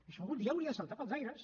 això algun dia hauria de saltar pels aires